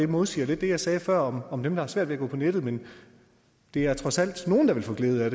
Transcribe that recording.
modsiger det jeg sagde før om dem der har svært ved at gå på nettet men der er trods alt nogle der vil få glæde af